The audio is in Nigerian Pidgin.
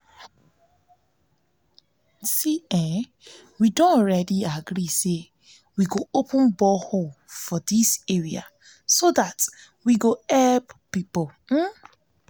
we don agree say we go open borehole for dis area so dat we go help people